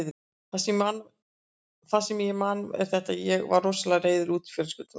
Það sem ég man er þetta: Ég var rosalega reiður út í fjölskylduna.